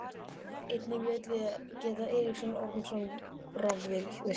Einnig vil ég geta Eiríks Ormssonar rafvirkja.